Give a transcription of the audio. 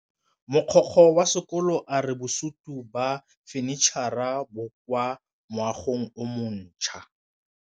Mogokgo wa sekolo a re bosutô ba fanitšhara bo kwa moagong o mošwa.